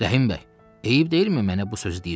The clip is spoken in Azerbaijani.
Rəhim bəy, eyib deyilmi mənə bu sözü deyirsən?